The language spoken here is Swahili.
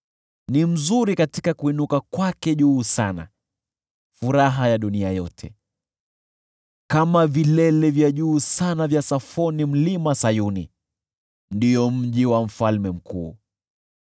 Ni mzuri katika kuinuka kwake juu sana, furaha ya dunia yote. Kama vilele vya juu sana vya Safoni ni Mlima Sayuni, mji wa Mfalme Mkuu.